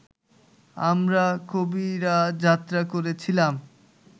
আমরা কবিরা যাত্রা করেছিলাম